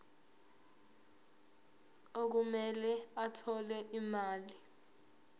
okumele athole imali